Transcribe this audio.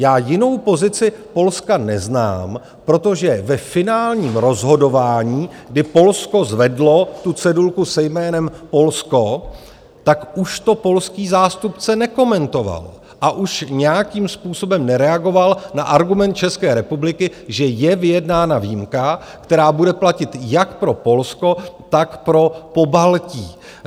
Já jinou pozici Polska neznám, protože ve finálním rozhodování, kdy Polsko zvedlo tu cedulku se jménem Polsko, tak už to polský zástupce nekomentoval a už nějakým způsobem nereagoval na argument České republiky, že je vyjednána výjimka, která bude platit jak pro Polsko, tak pro Pobaltí.